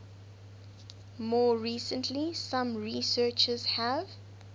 more recently some researchers have